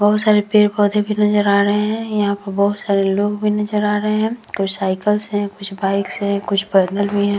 बोहोत सारे पेड़-पौधे भी नजर आ रहे है। यहाँ पे बोहोत सारे लोग भी नजर आ रहे है। कुछ साइकल्स है कुछ बाइक्स हैं भी है।